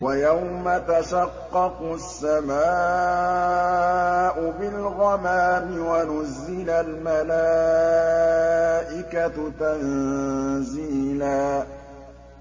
وَيَوْمَ تَشَقَّقُ السَّمَاءُ بِالْغَمَامِ وَنُزِّلَ الْمَلَائِكَةُ تَنزِيلًا